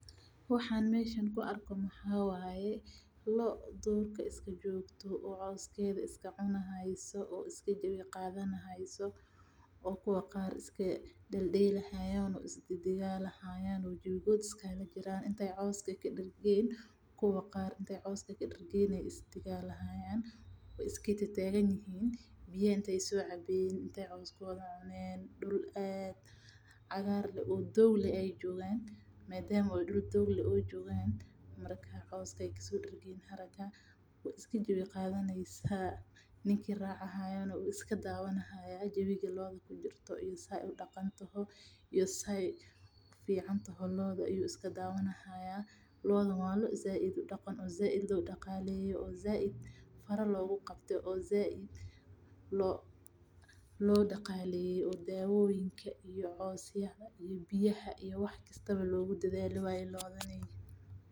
Waxaan meesha ku arko waxa waye loo durka joogto oo coos cuneysa oo jawi kujiraan oo kuwa qaar inataay dergeen iska tagtaan dul fican ayeey joogan ninka wade wuu iska dawani haaya sida aay udaqmeyso loodan waa loo sait loo daqaleeye oo sait loo daweeye oo loo dadaale waye.